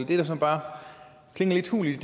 det der så bare klinger lidt hult er